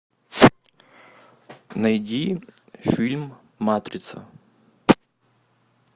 найди фильм матрица